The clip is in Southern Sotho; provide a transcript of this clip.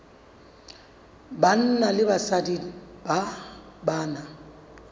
banna le basadi ba na